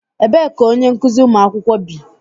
Ebee ka onye nkụzi ụmụ akwụkwọ bi?